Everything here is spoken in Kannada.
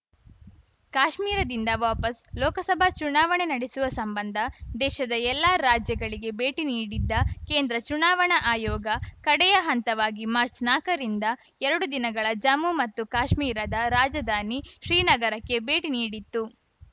ಕಾಶ್ಮೀರದಿಂದ ವಾಪಸ್‌ ಲೋಕಸಭಾ ಚುನಾವಣೆ ನಡೆಸುವ ಸಂಬಂಧ ದೇಶದ ಎಲ್ಲಾ ರಾಜ್ಯಗಳಿಗೆ ಭೇಟಿ ನೀಡಿದ್ದ ಕೇಂದ್ರ ಚುನಾವಣಾ ಆಯೋಗ ಕಡೆಯ ಹಂತವಾಗಿ ಮಾರ್ಚ್ನಾಕರಿಂದ ಎರಡು ದಿನಗಳ ಜಮ್ಮು ಮತ್ತು ಕಾಶ್ಮೀರದ ರಾಜಧಾನಿ ಶ್ರೀನಗರಕ್ಕೆ ಭೇಟಿ ನೀಡಿತ್ತು